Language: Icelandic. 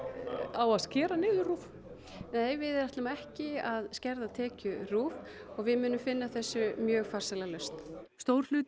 á að skera niður RÚV nei við ætlum ekki að skerða tekjur RÚV og við munum finna þessu mjög farsæla lausn stór hluti